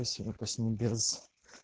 сё опаснее без